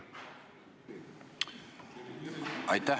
Aitäh!